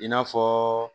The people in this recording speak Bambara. I n'a fɔ